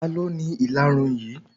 Talọ́ ni ìlarun yí?